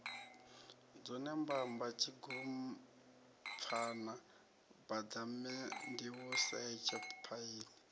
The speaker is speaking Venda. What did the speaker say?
dzone mbamba tshigompfana baḓamandiusetshe phaini